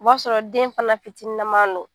O b'a sɔrɔ den fana fitininnaman don